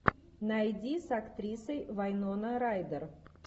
найди с актрисой вайнона райдер